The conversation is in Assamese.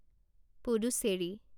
পুডুচেৰী